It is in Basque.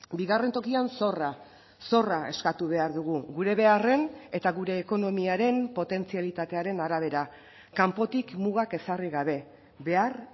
bigarren tokian zorra zorra eskatu behar dugu gure beharren eta gure ekonomiaren potentzialitatearen arabera kanpotik mugak ezarri gabe behar